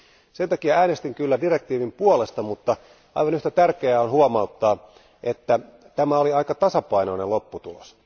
Sen takia äänestin kyllä direktiivin puolesta, mutta aivan yhtä tärkeää on huomauttaa, että tämä oli aika tasapainoinen lopputulos.